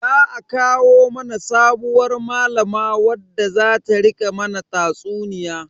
Za a kawo mana sabuwar malama wadda zata rika mana tatsuniya.